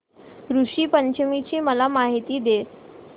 ऋषी पंचमी ची मला माहिती दे